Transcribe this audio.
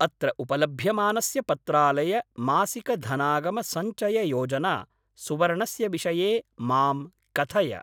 अत्र उपलभ्यमानस्य पत्रालय मासिक धनागम सञ्चय योजना सुवर्णस्य विषये मां कथय।